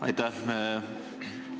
Aitäh!